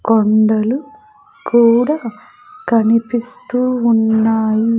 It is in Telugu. కొండలు కూడా కనిపిస్తూ ఉన్నాయి .